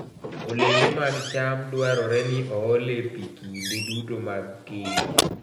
Olembe mag cham dwarore ni oole pi kinde duto mag keyo.